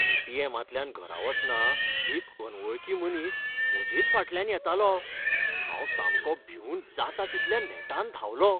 ए.टी.एमा तल्यान घरा वतना एक अनवळखी मनीस म्हजेच फाटल्यान येतालो. हांव सामको भिंवन जाता तितल्या नेटान धांवलो.